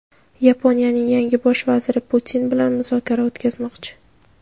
Yaponiyaning yangi Bosh vaziri Putin bilan muzokara o‘tkazmoqchi.